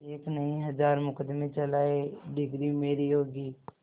एक नहीं हजार मुकदमें चलाएं डिगरी मेरी होगी